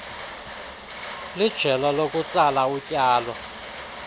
lijelo lokutsala utyalo